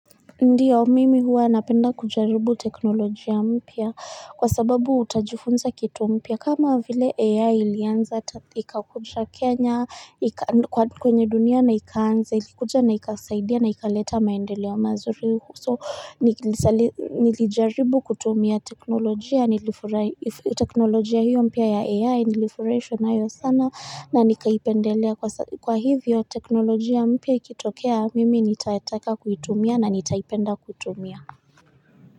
Ndiyo mimi huwa napenda kujaribu teknolojia mpya kwa sababu utajifunza kitu mpya kama vile AI ilianza ikakuja Kenya kwenye dunia na ikaanza ilikuja na ikasaidia na ikaleta maendeleo mazuri. So nilijaribu kutumia teknolojia teknolojia hiyo mpya ya AI nilifurahishwa nayo sana na nikaipendelea kwa hivyo teknolojia mpya ikitokea mimi nitataka kutumia na nitaipenda kutumia.